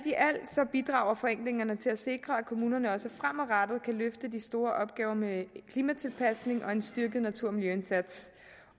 bidrager forenklingerne til at sikre at kommunerne også fremadrettet kan løfte de store opgaver med klimatilpasning og en styrket natur og miljøindsats